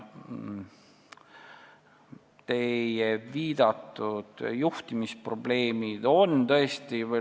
Teie viidatud juhtimisprobleemid on tõesti olemas.